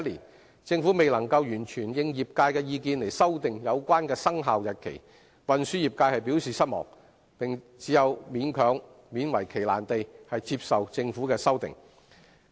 對於政府未能完全應業界意見修訂有關生效日期，運輸業界表示失望，並只有勉為其難地接受政府的修訂。